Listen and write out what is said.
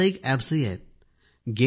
काही व्यावसायिक अॅप्स आहेत